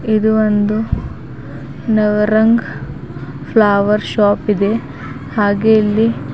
ಇದು ಒಂದು Navrang flower shop ಇದೆ ಹಾಗೆ ಇಲ್ಲಿ --